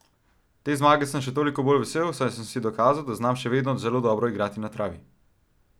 Te zmage sem še toliko bolj vesel, saj sem si dokazal, da znam še vedno zelo dobro igrati na travi.